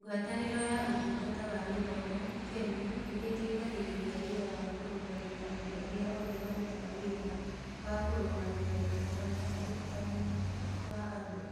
Ngwatanĩro ya Ũtungata wa Gĩthomo (KEMI) nĩ ĩteithagĩrĩria wĩra wa kũrũgamia andũ arĩa othe marutaga wĩra wa kũrũgamia gĩthomo na ũrutani wa andũ.